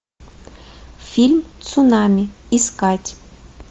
фильм цунами искать